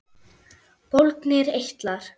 Bólgnir eitlar